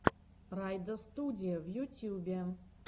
райдостудия в ютьюбе